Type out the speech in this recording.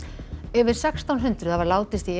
yfir sextán hundruð hafa látist í